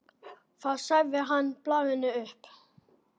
Þá sagði hann blaðinu upp.